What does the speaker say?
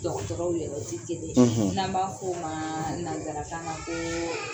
dɔgɔtɔrɔw yɛrɛsi ti kelen ye n'an b'a f'u ma nansarakan na ko